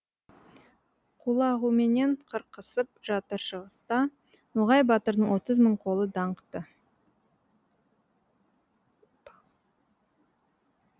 құлағуменен қырқысып жатыр шығыста ноғай батырдың отыз мың қолы даңқты